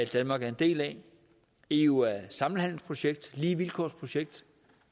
danmark er en del af eu er et samhandelsprojekt et lige vilkår projekt